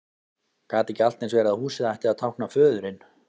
Gat ekki allt eins verið að húsið ætti að tákna föðurinn?